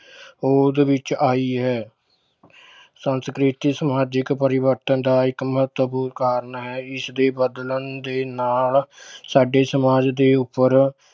ਹੋਂਦ ਵਿੱਚ ਆਈ ਹੈ ਸੰਸਕ੍ਰਿਤੀ ਸਮਾਜਿਕ ਪਰਿਵਰਤਨ ਦਾ ਇੱਕ ਮਹੱਤਵਪੂਰਨ ਕਾਰਨ ਹੈ ਇਸਦੇ ਬਦਲਣ ਦੇ ਨਾਲ ਸਾਡੇ ਸਮਾਜ ਦੇ ਉੱਪਰ